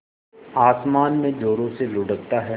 आसमान में ज़ोरों से लुढ़कता है